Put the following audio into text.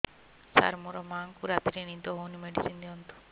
ସାର ମୋର ମାଆଙ୍କୁ ରାତିରେ ନିଦ ହଉନି ମେଡିସିନ ଦିଅନ୍ତୁ